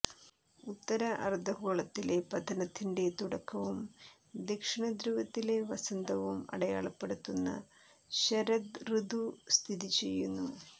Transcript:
ഉത്തര അർദ്ധഗോളത്തിലെ പതനത്തിന്റെ തുടക്കവും ദക്ഷിണധ്രുവത്തിലെ വസന്തവും അടയാളപ്പെടുത്തുന്ന ശരദ് റിതു സ്ഥിതിചെയ്യുന്നു